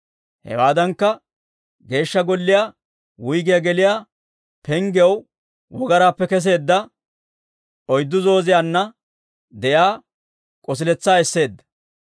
Hewaadankka, Geeshsha Golliyaa wuyggiyaa geliyaa penggiyaw wogaraappe kesseedda oyddu zooziyaanna de'iyaa k'osiletsaa esseedda.